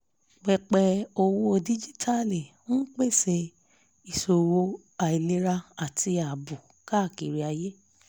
pẹpẹ owó díjíítàálì ń pèsè ìṣòwò àìlera àti ààbò káàkiri ayé